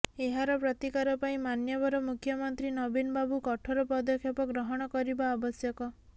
ଏହାର ପ୍ରତିକାର ପାଇଁ ମାନ୍ୟବର ମୁଖ୍ୟମନ୍ତ୍ରୀ ନବୀନ ବାବୁ କଠୋର ପଦକ୍ଷେପ ଗ୍ରହଣ କରିବା ଆବଶ୍ୟକ